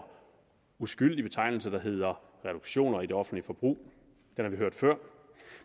uskyldig betegnelse der hedder reduktioner i det offentlige forbrug den har vi hørt før